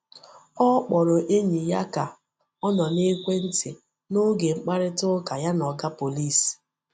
Ọ kpọrọ enyi ya ka ọ nọ n’ekwentị n’oge mkparịta ụka ya na Oga Pọlịs.